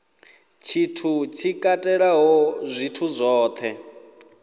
tshithu tshi katelaho zwithu zwohe